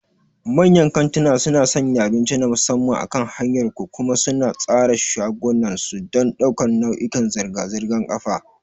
Manyan kantunan suna sanya abinci na musamman akan hanyar ku, kuma suna tsara shagunan su don ɗaukar nau'ikan zirga-zirgar ƙafa.